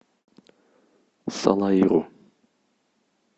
салаиру